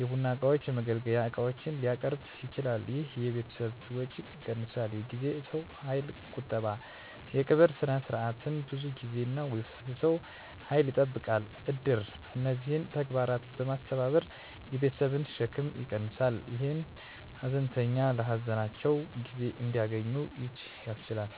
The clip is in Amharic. የቡና እቃዎች፣ የመገልገያ ዕቃዎች) ሊያቀርብ ይችላል። ይህ የቤተሰብን ወጪ ይቀንሳል። የጊዜና የሰው ኃይል ቁጠባ: የቀብር ሥነ ሥርዓት ብዙ ጊዜና የሰው ኃይል ይጠይቃል። እድር እነዚህን ተግባራት በማስተባበር የቤተሰብን ሸክም ይቀንሳል፣ ይህም ሀዘንተኞች ለሀዘናቸው ጊዜ እንዲያገኙ ያስችላል።